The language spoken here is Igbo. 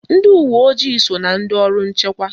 Ndị uwe ojii so na ndị ọrụ nchekwa